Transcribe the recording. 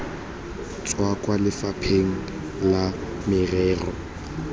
tswa kwa lefapheng la merero